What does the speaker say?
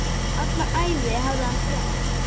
Alla ævi hafði hann þjáðst.